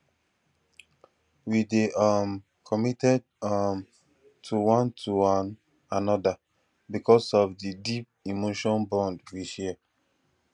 we dey um committed um to one to one another because of di deep emotional bond we share